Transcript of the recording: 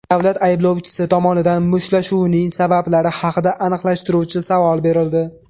Davlat ayblovchisi tomonidan mushtlashuvning sabablari haqida aniqlashtiruvchi savol berildi.